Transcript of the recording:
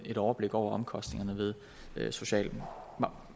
et overblik over omkostningerne ved social